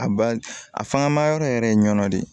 A ba a fanga ma yɔrɔ yɛrɛ ye ɲɔn de ye